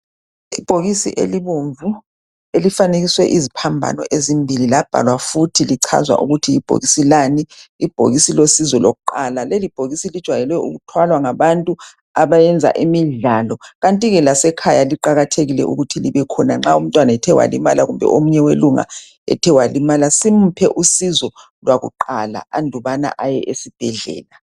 Ibhokisi elibomvu elifanekiswe iziphambano ezimbili labhalwa futhi lichazwa ukuthi libhokisi Lani. Ibhokisi losizo lokuqala. LeIibhokisi lijwayele ukuthwalwa ngabantu abeyenza imidlalo kanti ke lasekhaya kuqakathekile nxa umntwana ethe walimala kumbe omunye welunga simuphe usizo lwakuqala engakayi esibhedlela.